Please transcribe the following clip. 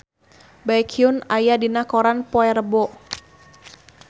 Baekhyun aya dina koran poe Rebo